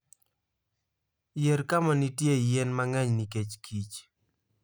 Yier kama nitie yien mang'eny nikech kich.